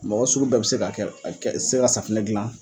Mɔgɔ sugu bɛɛ bɛ se k'a kɛ a kɛ se ka safunɛ dilan.